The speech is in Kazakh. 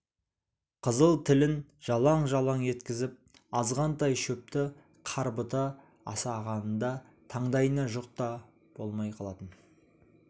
қызыл тілін жалаң-жалаң еткізіп азғантай шөпті қарбыта асағанында таңдайына жұқ та болмай қалатын